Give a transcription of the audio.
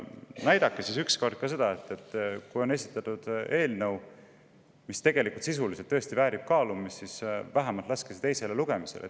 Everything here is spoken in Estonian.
Näidake ükskord seda, et kui on esitatud eelnõu, mis tõesti väärib kaalumist, siis see lastakse vähemalt teisele lugemisele.